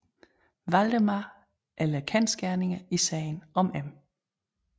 Valdemar eller Kendsgerningerne i sagen om M